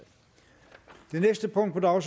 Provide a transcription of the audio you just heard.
og